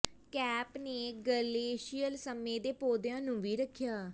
cape ਨੇ glacial ਸਮੇਂ ਦੇ ਪੌਦਿਆਂ ਨੂੰ ਵੀ ਰੱਖਿਆ